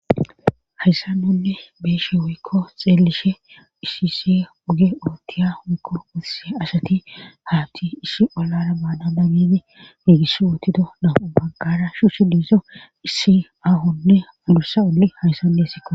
Hayssannonne beeshe woykko xeelishe issise uge ootiya mikko urse asati haatti ishi olara baana nabini hiigiss wootido namu baggara shu shi diiso issi ahonne udursa olli hayssannessiko.